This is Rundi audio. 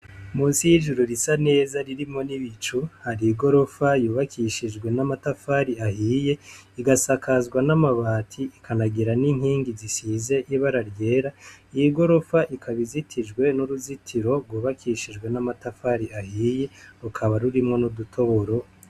Musi y'ijuru risa neza ririmo n'ibicu hari i gorofa yubakishijwe n'amatafari ahiye igasakazwa n'amabati ikanagira n'inkingi zisize ibara ryera iy i gorofa ikabizitijwe n'uruzitiro rubakishijwe n'amatafari ahiye rukaba rurimwo n'udutoboro.